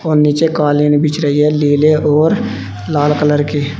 और नीचे कालीन बिछ रही है नीले और लाल कलर के--